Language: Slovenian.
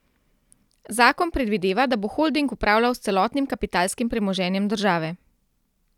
Zakon predvideva, da bo holding upravljal s celotnim kapitalskim premoženjem države.